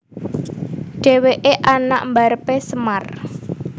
Dhèwèké anak mbarepé Semar